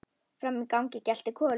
Frammi í gangi geltir Kolur.